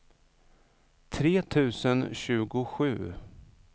tre tusen tjugosju